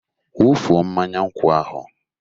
Wụfuo mmanya nkwụ ahụ!